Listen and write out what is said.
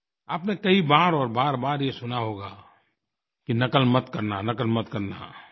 आपने कई बार और बारबार ये सुना होगा कि नक़ल मत करना नक़ल मत करना